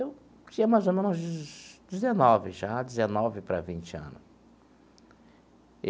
Eu tinha mais ou menos dezenove já, dezenove para vinte ano.